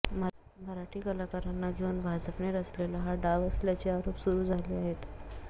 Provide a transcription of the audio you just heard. मराठी कलाकारांना घेऊन भाजपने रचलेला हा डाव असल्याचे आरोप सुरू झाले आहेत